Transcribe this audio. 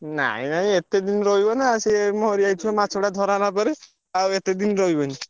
ନାଇଁ ନାଇଁ ଏତେ ଦିନି ରହିବ ନା ସେ ମରିଯାଇଥିବ ମାଛ ଟା ଧରା ହେଲା ପରେ। ଆଉ ଏତେ ଦିନି ରହିବନି।